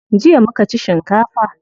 Jiya muka ci shinkafa.